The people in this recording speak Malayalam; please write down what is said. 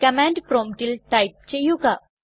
കമാൻഡ് പ്രോമ്പ്റ്റിൽ ടൈപ്പ് ചെയ്യുക